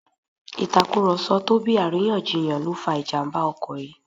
Ìtàkùrọ̀sọ tó bí àríyànjiyàn ló fa ìjàmbá ọkọ̀ yìí